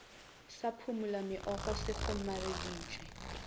sa phumula meokgo se kgomareditšwe